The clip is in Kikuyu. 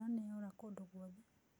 Mbura nĩyaũra kũndũ guothe.